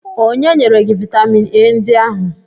Onye nyere gị vitamin A ndị ahụ?